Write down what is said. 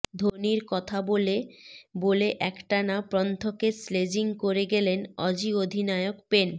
ধোনির কথা বলে বলে একটানা পন্থকে স্লেজিং করে গেলেন অজি অধিনায়ক পেন